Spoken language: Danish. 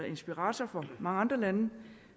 inspirator for mange andre lande